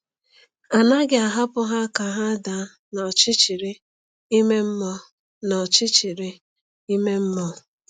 A naghị ahapụ ha ka ha daa n’ọchịchịrị ime mmụọ. n’ọchịchịrị ime mmụọ.